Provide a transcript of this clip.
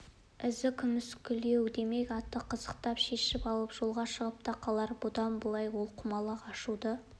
із көмескілеу демек атты қазықтан шешіп алып жолға шығып та қалар бұдан былай ол құмалақ ашуды